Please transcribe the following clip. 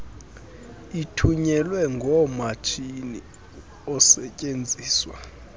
ithunyelwe ngomatshini osetyenziswa